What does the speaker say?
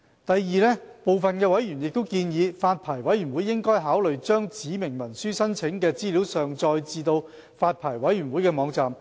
第二，法案委員會部分委員建議，發牌委員會應考慮將指明文書申請的資料上載至發牌委員會的網站。